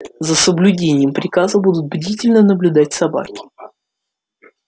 за соблюдением приказа будут бдительно наблюдать собаки